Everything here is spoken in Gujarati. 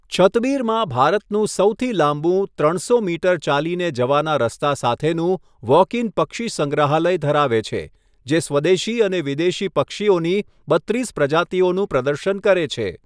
છતબીરમાં ભારતનું સૌથી લાંબુ ત્રણસો મીટર ચાલીને જવાના રસ્તા સાથેનું વૉક ઇન પક્ષીસંગ્રહાલય ધરાવે છે, જે સ્વદેશી અને વિદેશી પક્ષીઓની બત્રીસ પ્રજાતિઓનું પ્રદર્શન કરે છે.